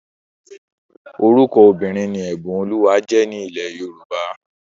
Orúkọ obìnrin ni Ẹ̀bùnolúwa jẹ́ ní ilẹ̀ Yorùbá